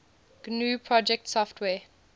gnu project software